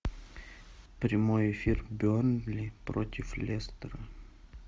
прямой эфир бернли против лестера